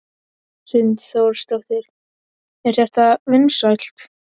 Hrund Þórsdóttir: Er þetta vinsælt?